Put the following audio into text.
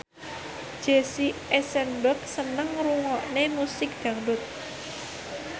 Jesse Eisenberg seneng ngrungokne musik dangdut